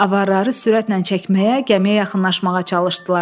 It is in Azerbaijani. Avarları sürətlə çəkməyə, gəmiyə yaxınlaşmağa çalışdılar.